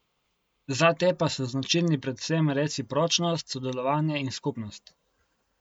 Za te pa so značilni predvsem recipročnost, sodelovanje in skupnost.